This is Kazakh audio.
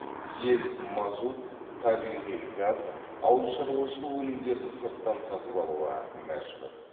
ел мазут табиғи газ ауылшаруашылық өнімдерін сырттан сатып алуға мәжбүр